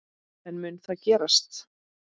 En mun það gerast?